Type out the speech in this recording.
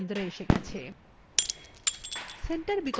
বৃত্তটি centreএ এসে গেছে